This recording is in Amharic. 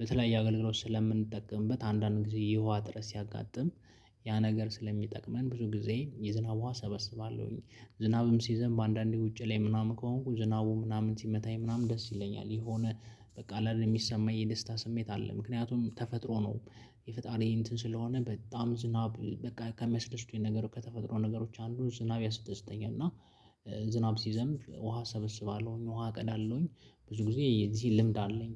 ለተለያየ አገልግሎት ስለምንጠቀምበት አንዳንድ ጊዜ የውሃ ጥረት ሲያጋጥም። ያ ነገር ስለሚጠቅመን ብዙ ጊዜ የዝናብ ዉሃ እሰበስባለሁኝ። ዝናብም ሲይዘንብ አንዳንዴ ውጪ ላይ ምናምን ከሆንኩ ዝናቡ ምናምን ሲመታኝ ምናምን ደስ ይለኛል። የሆነ በቃ አለ አይደል ሚሰማኝ የደስታ ስሜት አለ ምክንያቱም ተፈጥሮ ነው። የፈጣሪ እንትን ስለሆነ በጣም ዝናብ በቃ ከሚያስደስቱኝ ነገር ከተፈጥሮ ነገሮች አንዱ ዝናብ ያስደሰተኛል። እና ዝናብ ሲዘንብ ውሃ እሰበስባለሁኝ። ውሃ እቀዳለሁኝ ብዙ ጊዜ የዚህ ልምድ አለኝ።